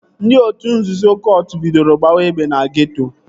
Ndị otu nzuzo kọt bidoro gbawa egbe na geeto